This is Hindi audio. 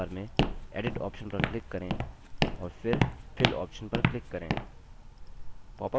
menu bar में edit option पर click करें और फिर fill option पर click करें